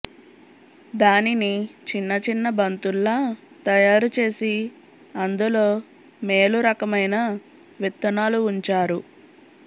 దానిని చిన్నచిన్న బంతుల్లా తయా రుచేసి అందులో మేలురకమైన విత్తనాలు ఉంచారు